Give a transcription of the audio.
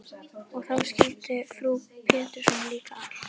Og þá skildi frú Pettersson líka allt.